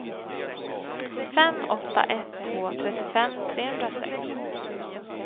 fem åtta ett två trettiofem trehundrasex